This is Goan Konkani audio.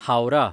हावराह